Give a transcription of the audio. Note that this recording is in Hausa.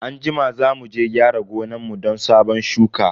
Anjima za muje gyara gonan mu don sabon shuka.